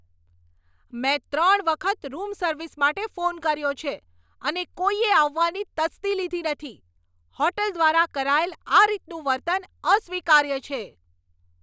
મેં ત્રણ વખત રૂમ સર્વિસ માટે ફોન કર્યો છે, અને કોઈએ આવવાની તસ્દી લીધી નથી! હોટેલ દ્વારા કરાયેલ આ રીતનું વર્તન અસ્વીકાર્ય છે.